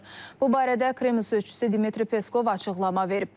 Bu barədə Kremlin sözçüsü Dmitri Peskov açıqlama verib.